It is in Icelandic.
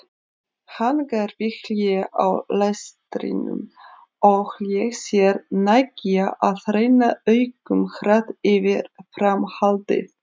Hann gerði hlé á lestrinum og lét sér nægja að renna augunum hratt yfir framhaldið.